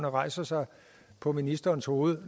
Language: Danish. at rejse sig på ministerens hoved